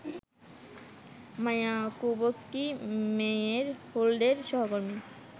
মায়াকোভস্কি-মেইয়ের হোল্ডের সহকর্মী